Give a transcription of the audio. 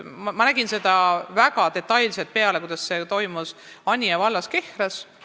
Ma nägin väga detailselt pealt, kuidas see toimus Anija vallas Kehras.